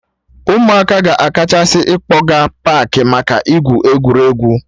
Ụmụaka ka a kachasị akpọga paakị maka igwu egwuregwu